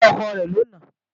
Ṣé ọkọ rẹ̀ ló nàá?